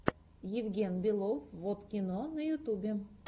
евген белов воткино на ютубе